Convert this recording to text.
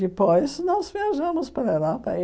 Depois, nós viajamos para a Europa. E